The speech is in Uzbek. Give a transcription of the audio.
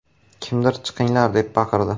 Kimdir “chiqinglar” deb baqirdi.